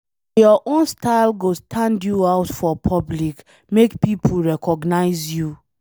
Nah your own style go stand you out for public, make pipo recognize you